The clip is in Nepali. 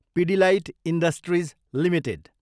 Pidilite industries Ltd